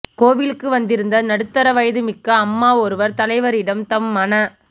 கோவிலுக்கு வந்திருந்த நடுத்தர வயது மிக்க அம்மா ஒருவர் தலைவரிடம் தம் மன